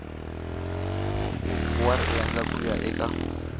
wa riendli ku ya eka